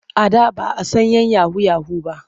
A da ba a san 'yan yahu-yahu ba.